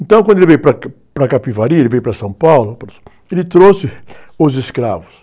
Então, quando ele veio para aqui, para Capivari, ele veio para São Paulo, ele trouxe os escravos.